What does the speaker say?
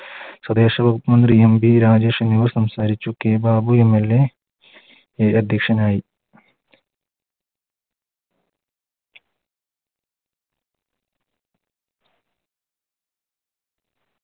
സ്വദേശ വകുപ്പ് മന്ത്രി MV രാജേഷ് എന്നിവർ സംസാരിച്ചു K ബാബു MLA അധ്യക്ഷനായി